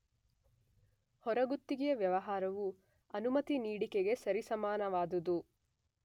ಹೊರಗುತ್ತಿಗೆ ವ್ಯವಹಾರವು ಅನುಮತಿ ನೀಡಿಕೆಗೆ ಸರಿಸಮಾನವಾದುದು.